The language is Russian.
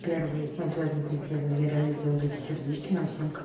первый мы обязательно это сделаем я реально сделаю такие сердечки нам всем к